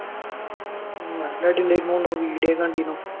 ഉം നല്ല അടിയുണ്ടാരുന്നുന്ന് വിഡിയോയിൽ കണ്ടീനു